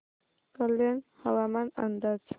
कल्याण हवामान अंदाज